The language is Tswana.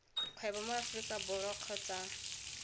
kgwebo mo aforika borwa kgotsa